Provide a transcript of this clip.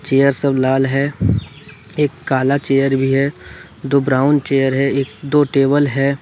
Chair सब लाल है एक काला चेयर भी है दो ब्राउन चेयर है एक दो टेबल है।